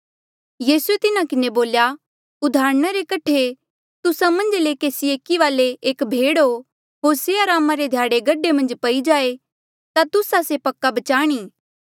यीसूए तिन्हा किन्हें बोल्या उदाहरणा कठे तुस्सा मन्झ ले केसी एकी वाले एक भेड हो होर से अरामा रे ध्याड़े गढे मन्झ पई जाए तुस्सा से पक्का बचाणी